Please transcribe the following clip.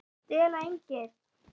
STELA ENGLI!